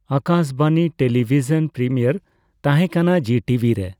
ᱟᱠᱟᱥ ᱵᱟᱱᱤ television premiere ᱛᱟᱦᱮᱸᱠᱟᱱᱟ Zee TV ᱨᱮ ᱾